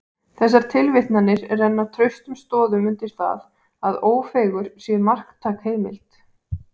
Þessar tilvitnanir renna traustum stoðum undir það, að Ófeigur sé marktæk heimild.